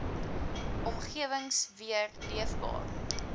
omgewings weer leefbaar